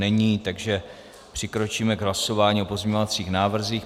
Není, takže přikročíme k hlasování o pozměňovacích návrzích.